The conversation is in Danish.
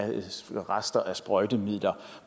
rester af sprøjtemidler